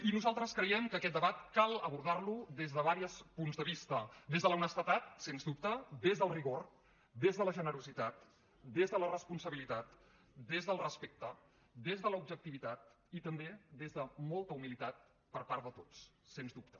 i nosaltres creiem que aquest debat cal abordar lo des de diversos punts de vista des de l’honestedat sens dubte des del rigor des de la generositat des de la responsabilitat des del respecte des de l’objectivitat i també des de molta humilitat per part de tots sens dubte